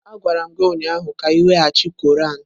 Agwara m gi ụnyahụ ka iweghachi Quran!